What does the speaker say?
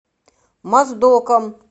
моздоком